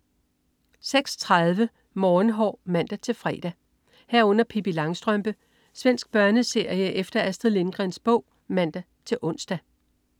06.30 Morgenhår (man-fre) 06.30 Pippi Langstrømpe. Svensk børneserie efter Astrid Lindgrens bog (man-ons)